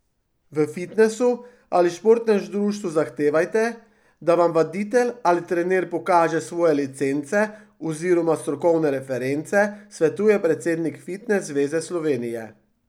V fitnesu ali športnem društvu zahtevajte, da vam vaditelj ali trener pokaže svoje licence oziroma strokovne reference, svetuje predsednik Fitnes zveze Slovenije.